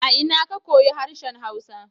A ina ka koyu harshen hausa?